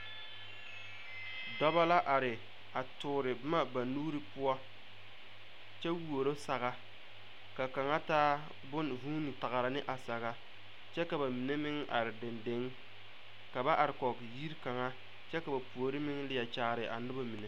Dɔba la are a toore boma ba nuuri poɔ kyɛ wuoro saga ka kaŋa taa bonne vuune pɔgrɔ ne a saga kyɛ ka ba mine meŋ are deŋdeŋ ka ba are kɔge yiri kaŋa kyɛ ka ba puori meŋ leɛ kyaare a noba mine.